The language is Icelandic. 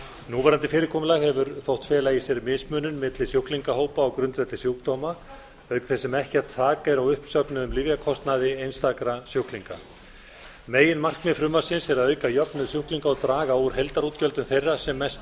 núverandi fyrirkomulag hefur þótt fela í sér mismunun milli sjúklingahópa á grundvelli sjúkdóma auk þess sem ekkert þak er á uppsöfnuðum lyfjakostnaði einstakra sjúklinga meginmarkmið frumvarpsins er að auka jöfnuð sjúklinga og draga úr heildarútgjöldum þeirra sem mest